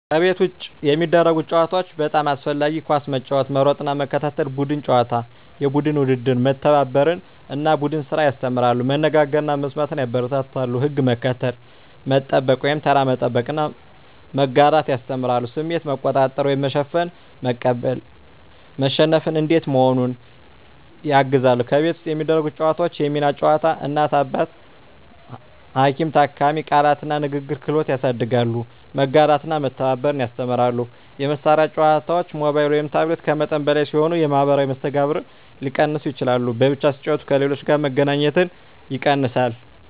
ከቤት ውጭ የሚደረጉ ጨዋታዎች (በጣም አስፈላጊ) ኳስ መጫወት መሮጥና መከታተል ቡድን ጨዋታዎች (የቡድን ውድድር) መተባበርን እና ቡድን ስራን ያስተምራሉ መነጋገርን እና መስማትን ያበረታታሉ ሕግ መከተል፣ መጠበቅ (ተራ መጠበቅ) እና መጋራት ያስተምራሉ ስሜት መቆጣጠር (መሸነፍን መቀበል፣ መሸነፍ እንዴት መሆኑን) ያግዛሉ ከቤት ውስጥ የሚደረጉ ጨዋታዎች የሚና ጨዋታ (እናት–አባት፣ ሐኪም–ታካሚ) ቃላት እና ንግግር ክህሎት ያሳድጋሉ መጋራትና መተባበር ያስተምራሉ የመሳሪያ ጨዋታዎች (ሞባይል/ታብሌት) ከመጠን በላይ ሲሆኑ የማኅበራዊ መስተጋብርን ሊቀንሱ ይችላሉ በብቻ ሲጫወቱ ከሌሎች ጋር መገናኘት ይቀንሳል